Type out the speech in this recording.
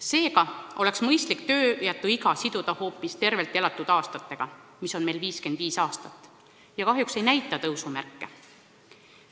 Seega oleks mõistlik tööjätuiga siduda hoopis tervelt elatud aastatega, mis on meil keskmiselt 55 aastat ja kahjuks ei näita tõusumärke.